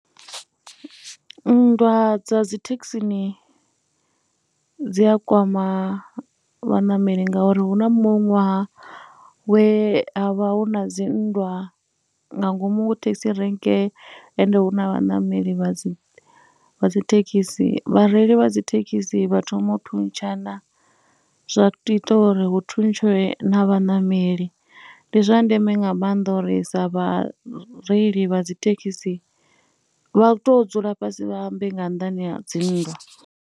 Nndwa dza dzi thekhisini dzi kwama vhaṋameli ngauri hu na muṅwe ṅwaha we ha vha hu na dzinndwa nga ngomu thekhisi renge ende hu na vhaṋameli vha dzi, vha dzi thekhisi. Vhareili vha dzi thekhisi vha thoma u thuntshana zwa ita uri hu thuntshwe na vhaṋameli. Ndi zwa ndeme nga maanḓa uri sa vhareili vha dzi thekhisi, vha tou dzula fhasi vha ambe nga nnḓani dzi nndwa.